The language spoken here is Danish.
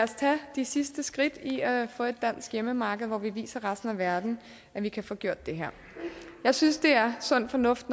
os tage de sidste skridt i at få et dansk hjemmemarked hvor vi viser resten af verden at vi kan få gjort det her jeg synes det er sund fornuft